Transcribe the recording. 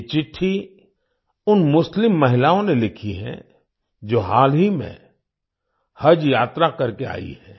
ये चिट्ठी उन मुस्लिम महिलाओं ने लिखी हैं जो हाल ही में हज यात्रा करके आई हैं